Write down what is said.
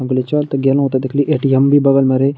हम कहली चल त गेलूं त देखली ए.टी.एम भी बगल में रही।